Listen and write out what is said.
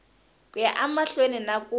ku ya emahlweni na ku